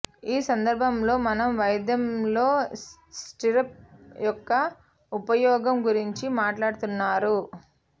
ఈ సందర్భంలో మనం వైద్యంలో స్టిర్రప్ యొక్క ఉపయోగం గురించి మాట్లాడుతున్నారు